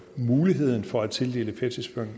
muligheden for at tildele